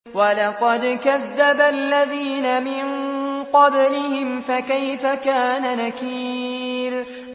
وَلَقَدْ كَذَّبَ الَّذِينَ مِن قَبْلِهِمْ فَكَيْفَ كَانَ نَكِيرِ